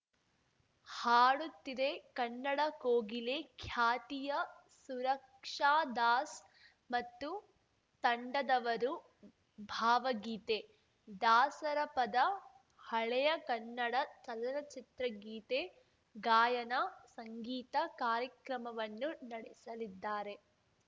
ಹಾಡುತಿದೆ ಕನ್ನಡ ಕೋಗಿಲೆ ಖ್ಯಾತಿಯ ಸುರಕ್ಷಾದಾಸ್‌ ಮತ್ತು ತಂಡದವರು ಭಾವಗೀತೆ ದಾಸರಪದ ಹಳೆಯ ಕನ್ನಡ ಚಲನಚಿತ್ರಗೀತೆ ಗಾಯನ ಸಂಗೀತ ಕಾರ್ಯಕ್ರಮವನ್ನು ನಡೆಸಲಿದ್ದಾರೆ